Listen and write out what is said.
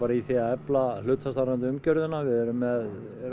í því að efla hlutastarfandi umgjörðina við erum með